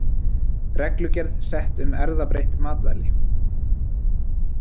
Reglugerð sett um erfðabreytt matvæli